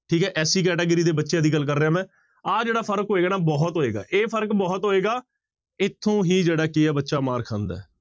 ਠੀਕ ਹੈ SC category ਦੇ ਬੱਚਿਆਂ ਦੀ ਗੱਲ ਕਰ ਰਿਹਾ ਮੈਂ, ਆਹ ਜਿਹੜਾ ਫ਼ਰਕ ਹੋਏਗਾ ਨਾ ਬਹੁਤ ਹੋਏਗਾ, ਇਹ ਫ਼ਰਕ ਬਹੁਤ ਹੋਏਗਾ ਇੱਥੋਂ ਹੀ ਜਿਹੜਾ ਕੀ ਹੈ ਬੱਚਾ ਮਾਰ ਖਾਂਦਾ ਹੈ।